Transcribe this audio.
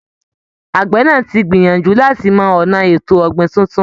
Àgbẹ̀ náà ti gbìyànjú láti mọ ọ̀nà ètò ọ̀gbìn tuntun